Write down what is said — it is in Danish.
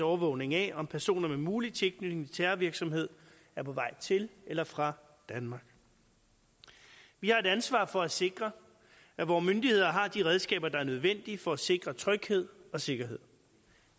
overvågning af om personer med mulig tilknytning til terrorvirksomhed er på vej til eller fra danmark vi har et ansvar for at sikre at vore myndigheder har de redskaber der er nødvendige for at sikre tryghed og sikkerhed